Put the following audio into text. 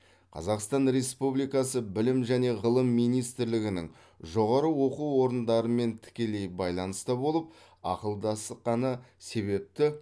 қазақстан республикасы білім және ғылым министрлігінің жоғары оқу орындарымен тікелей байланыста болып ақылдасқаны себепті